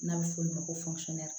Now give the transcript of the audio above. N'a bɛ f'o ma ko